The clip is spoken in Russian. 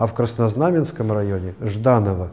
а краснознаменском районе жданого